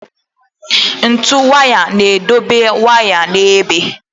Ntu waya na-edobe waya n'ebe.